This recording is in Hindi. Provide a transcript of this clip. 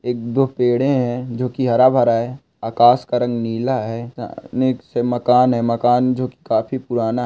एक दो पेड़े है जो काफी हरा भरा है आकाश का रंग नीला है मकान- मकान जो काफी पुराना --